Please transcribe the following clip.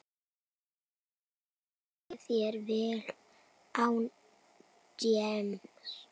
Gangi þeim vel án James.